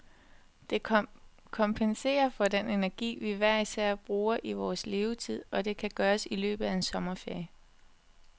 Det kompenserer for den energi, vi hver især bruger i vores levetid, og det kan gøres i løbet af en sommerferie.